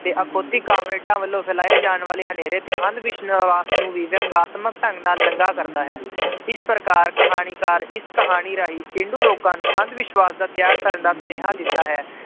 ਤੇ ਅਖੌਤੀ ਕਾਮਰੇਡਾਂ ਵੱਲੋਂ ਫੈਲਾਏ ਜਾਣ ਵਾਲੇ ਹਨੇਰੇ ਤੇ ਅੰਧਵਿਸ਼ਵਾਸ ਨੂੰ ਵੀ ਵਿਅੰਗਾਤਮਕ ਢੰਗ ਨਾਲ ਨੰਗਾ ਕਰਦਾ ਹੈ ਇਸ ਪ੍ਰਕਾਰ ਕਹਾਣੀਕਾਰ ਇਸ ਕਹਾਣੀ ਰਾਹੀਂ ਪੇਂਡੂ ਲੋਕਾਂ ਨੂੰ ਅੰਧ ਵਿਸ਼ਵਾਸ ਦਾ ਤਿਆਗ ਕਰਨ ਦਾ ਸੁਨੇਹਾ ਦਿੰਦਾ ਹੈ,